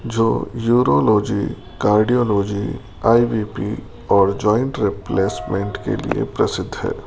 जो urology cardiology I B P और joint replacement के लिए प्रसिद्ध है।